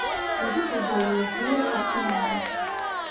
вруби футбол ливерпуля с арсеналом